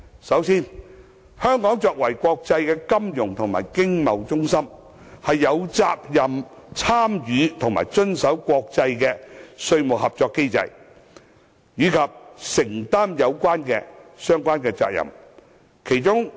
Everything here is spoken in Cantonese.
首先，香港作為國際金融及經貿中心，有責任參與和遵守國際的稅務合作機制，以及承擔相關責任。